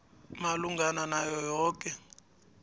malungana nayo yoke